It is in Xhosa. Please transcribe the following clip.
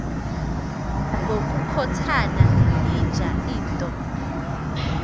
ngokukhothana yinja into